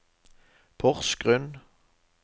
Porsgrunn